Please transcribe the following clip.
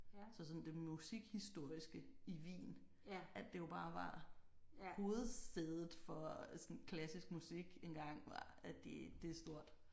Så sådan det musikhistoriske i Wien at det jo bare var hovedsædet for sådan klassisk musik engang var det det er stort